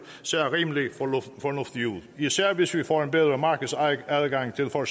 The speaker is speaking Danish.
ser rimelig fornuftige ud især hvis vi får en bedre markedsadgang til for